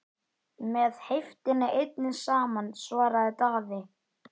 Með heiftinni einni saman, svaraði Daði.